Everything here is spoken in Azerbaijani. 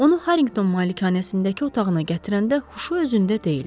Onu Harringtton malikanəsindəki otağına gətirəndə huşu özündə deyildi.